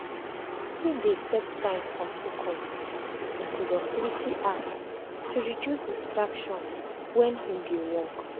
him dey set time for focus with him productivity app to reduce distraction wen him dey work. um